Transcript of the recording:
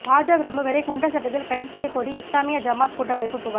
பாஜ பிரமுகரை குண்டர் சட்டத்தில் கைது செய்யக்கோரி இஸ்லாமிய ஜமாத் கூட்டமைப்பு புகார்